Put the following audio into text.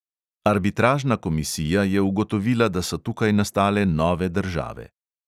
Arbitražna komisija je ugotovila, da so tukaj nastale nove države.